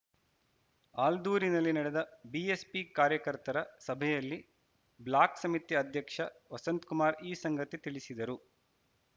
ಆಲ್ದೂರಿನಲ್ಲಿ ನಡೆದ ಬಿಎಸ್ಪಿ ಕಾರ್ಯಕರ್ತರ ಸಭೆಯಲ್ಲಿ ಬ್ಲಾಕ್‌ ಸಮಿತಿ ಅಧ್ಯಕ್ಷ ವಸಂತಕುಮಾರ್‌ ಈ ಸಂಗತಿ ತಿಳಿಸಿದರು